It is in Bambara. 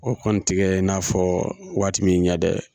O kɔni tɛ kɛ i n'a fɔ waati min ɲa dɛ